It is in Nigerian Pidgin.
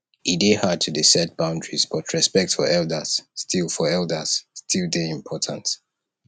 e dey hard to dey set boundaries but respect for elders still for elders still dey important